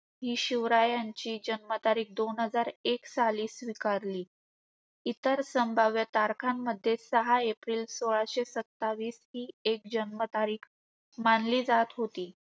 हि शिवरायांची जन्मतारीख दोन हजार एक साली स्वीकारली. इतर संभाव्य तारखांमध्ये सहा एप्रिल सोळाशे सत्तावीस हि एक जन्मतारीख मानली जात होती.